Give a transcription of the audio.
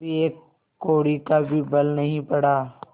कभी एक कौड़ी का भी बल नहीं पड़ा